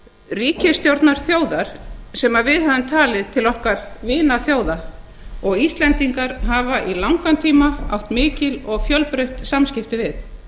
ríkisstjórnar þjóðar sem við höfum talið til okkar vinaþjóða og íslendingar hafa í langan tíma átt mikil og fjölbreytt samskipti við